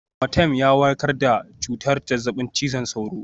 Amatem ya warkar da cutar zazzabin cizon sauro